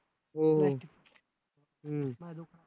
हो